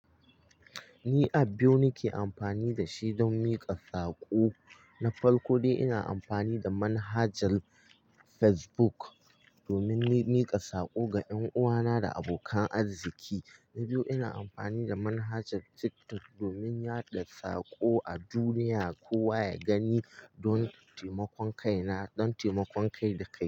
Ni a biyu nake amfani dashi don miƙa saƙo na farko dai ina amfani da manhajar Facebook domin ni miƙa saƙo ga ƴanuwana da abokan arziki. Na biyu ina amfani da manhajar TikTok domin yaɗa saƙo a duniya kowa ya gani don taimakon kai na don taimakon kai da kai.